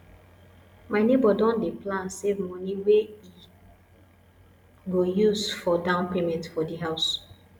my nebor don dy plan save money wey he go use for down payment for di house